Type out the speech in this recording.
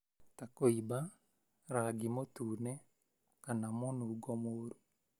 ta kũimba, rangi mũtune, kana mũnungo mũru.